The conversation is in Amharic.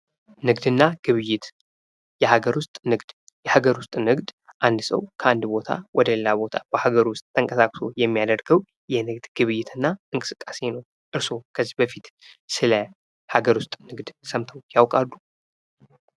ንግድ እና ግብይት የሃገር ዉስጥ ንግድ የሃገር ዉስጥ ንግድ አንድ ሰው ከአንድ ቦታ ወደ ሌላ ቦታ በሃገር ዉስጥ ተንቀሳቅሶ የሚያደርገው የንግድ ግብይት እና እንቅስቃሴ ነው። እርሶ ከዚህ በፊት ስለ ሃገር ዉስጥ ንግድ ሰምተው ያውቃሉ?